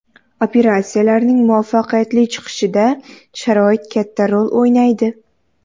Operatsiyalarnining muvaffaqiyatli chiqishida sharoit katta rol o‘ynaydi.